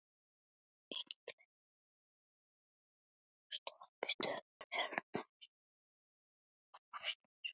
Ingileifur, hvaða stoppistöð er næst mér?